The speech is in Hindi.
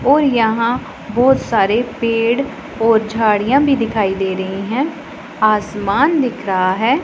और यहां बहोत सारे पेड़ और झाड़ियां भी दिखाई दे रही है आसमान दिख रहा है।